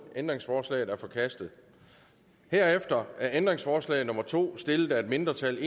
ændringsforslaget er forkastet herefter er ændringsforslag nummer to stillet af et mindretal